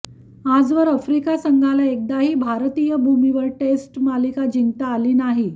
आजवर आफ्रिका संघाला एकदाही भारतीय भूमीवर टेस्ट मालिका जिंकता आली नाही